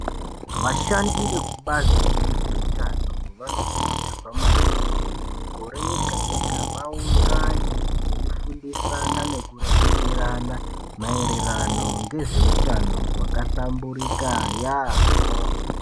Vashandi vekubazi rezveutano vanokurudzirwa maningi kuti muigore rega rega vaungane veifundisana nekureketerana maerwrano ngezveutano hwakahlamburika yaamho.